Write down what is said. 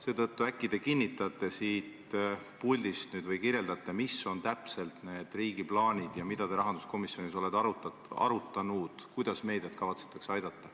Äkki te nüüd kinnitate siit puldist või kirjeldate, millised on täpselt riigi plaanid ja mida te rahanduskomisjonis olete arutanud seoses sellega, kuidas meediat kavatsetakse aidata.